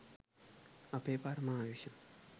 අපේ පරම ආයුෂ